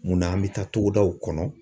Munna an bɛ taa togodaw kɔnɔ